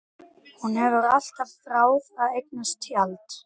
Hún hefur alltaf þráð að eignast tjald.